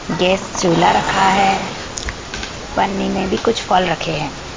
Gas चूल्हा रखा है पन्नी में भी कुछ फल रखे हैं।